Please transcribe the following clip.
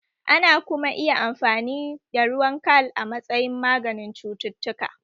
Ana kuma iya amfani ruwan kal a matsayin maganin cututtuka